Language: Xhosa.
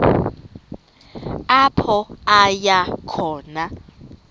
apho aya khona